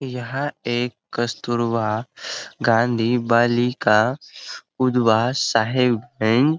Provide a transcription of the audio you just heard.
यह एक कस्तूरवा गाँधी बलिका उधवा साहेबगंज --